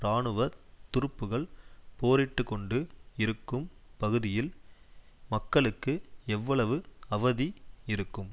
இராணுவ துருப்புக்கள் போரிட்டுக் கொண்டு இருக்கும் பகுதியில் மக்களுக்கு எவ்வளவு அவதி இருக்கும்